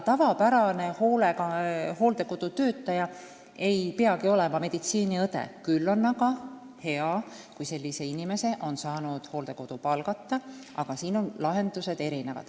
Tavapärane hooldekodutöötaja ei peagi olema meditsiiniõde, kuigi on hea, kui hooldekodu on saanud sellise inimese palgata.